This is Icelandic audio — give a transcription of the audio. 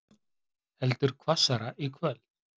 Heldur hvassari í kvöld